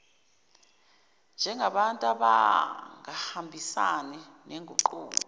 njengabantu abangahambisani noguquko